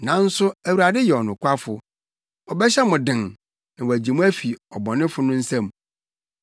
Nanso Awurade yɛ ɔnokwafo. Ɔbɛhyɛ mo den na wagye mo afi ɔbɔnefo no nsam.